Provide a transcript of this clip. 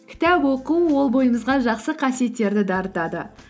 кітап оқу ол бойымызға жақсы қасиеттерді де артады